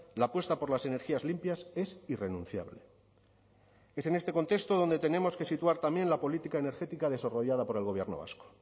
la apuesta por las energías limpias es irrenunciable es en este contexto donde tenemos que situar también la política energética desarrollada por el gobierno vasco